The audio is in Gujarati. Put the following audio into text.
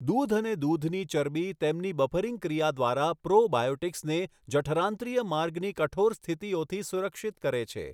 દૂધ અને દૂધની ચરબી તેમની બફરિંગ ક્રિયા દ્વારા પ્રો બાયોટિક્સને જઠરાંત્રિય માર્ગની કઠોર સ્થિતિઓથી સુરક્ષિત કરે છે.